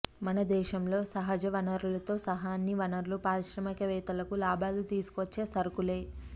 మన దేశంలో సహజ వనరులతో సహా అన్ని వనరులు పారిశ్రామికవేత్తలకు లాభాలు తీసుకువచ్చే సరుకులే